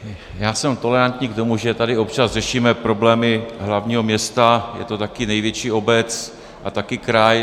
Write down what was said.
Já jsem tolerantní k tomu, že tady občas řešíme problémy hlavního města, je to také největší obec a také kraj.